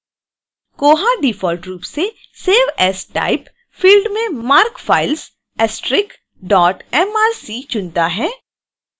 koha default रूप से save as type field में marc files *mrc चुनता है